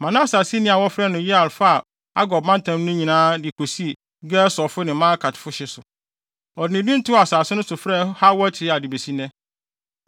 Manase aseni bi a wɔfrɛ no Yair faa Argob mantam no nyinaa de kosii Gesurfo ne Maakatfo hye so. Ɔde ne din too asase no frɛɛ hɔ Hawot-Yair de besi nnɛ.